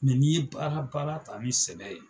Mɛ N'i ye baara baara ta ni sɛbɛ ye